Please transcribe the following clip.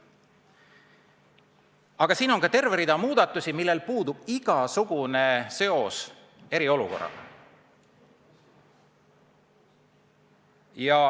Lisaks on siin terve rida selliseid muudatusi, millel puudub igasugune seos eriolukorraga.